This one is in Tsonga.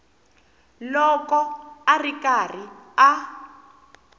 loko a ri karhi a